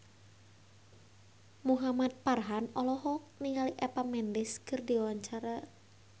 Muhamad Farhan olohok ningali Eva Mendes keur diwawancara